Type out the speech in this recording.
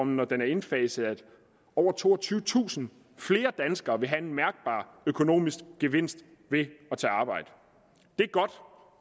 når den er indfaset at over toogtyvetusind flere danskere vil have en mærkbar økonomisk gevinst ved at tage arbejde